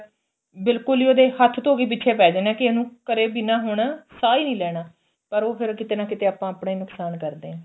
ਬਿਲਕੁਲ ਈ ਉਹਦੇ ਹੱਥ ਧੋ ਕੇ ਪਿੱਛੇ ਪੈ ਜਾਣੇ ਕੀ ਇਹਨੂੰ ਕਰੇ ਬਿਨਾ ਹੁਣ ਸਾਂਹ ਹੀ ਨੀ ਲੈਣਾ ਪਰ ਉਹ ਫ਼ਿਰ ਕਿਤੇ ਨਾ ਕਿਤੇ ਆਪਾਂ ਆਪਣਾ ਈ ਨੁਕਸਾਨ ਕਰਦੇ ਆ